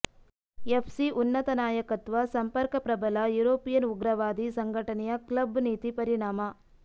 FC ಉನ್ನತ ನಾಯಕತ್ವ ಸಂಪರ್ಕ ಪ್ರಬಲ ಯುರೋಪಿಯನ್ ಉಗ್ರವಾದಿ ಸಂಘಟನೆಯ ಕ್ಲಬ್ ನೀತಿ ಪರಿಣಾಮ